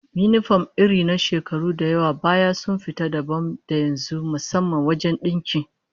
Yinifom irin na shekaru da yawa baya sun fita dabam da yanzu, musamman wajen dinki